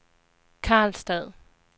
Karlstad